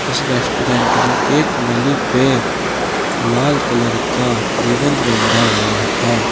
इस रेस्टोरेंट में एक नली पे लाल कलर का रिबंद बंधा हुआ है।